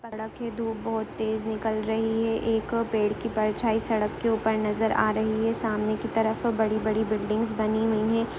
सड़क है धूप बहुत तेज निकल रही है एक पेड़ की परछाई सड़क के ऊपर नजर आ रही है सामने की तरफ बड़ी -बड़ी बिल्डिंग्स बनी हुई है।